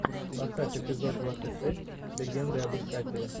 поставь эпизод двадцать шесть легенды об искателе